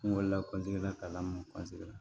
N wolola la ka ma la